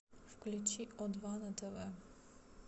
включи о два на тв